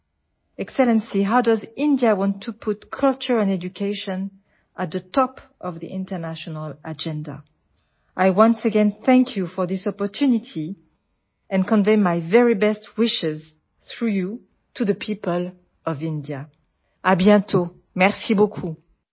ശ്രേഷ്ഠൻ എങ്ങനെയാണ് ഇന്ത്യ സംസ്കാരത്തെയും വിദ്യാഭ്യാസത്തെയും അന്താരാഷ്ട്ര അജണ്ടയുടെ മുകളിൽ നിർത്താൻ ആഗ്രഹിക്കുന്നത് ഈ അവസരത്തിന് ഒരിക്കൽ കൂടി ഞാൻ നിങ്ങളോട് നന്ദി പറയുകയും നിങ്ങളിലൂടെ ഇന്ത്യയിലെ ജനങ്ങൾക്ക് എന്റെ ആശംസകൾ അറിയിക്കുകയും ചെയ്യുന്നു